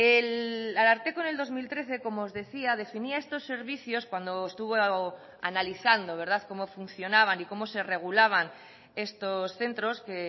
el ararteko en el dos mil trece como os decía definía estos servicios cuando estuvo analizando cómo funcionaban y cómo se regulaban estos centros que